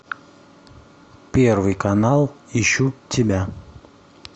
первый канал ищу тебя